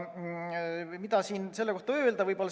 Mida selle kohta öelda?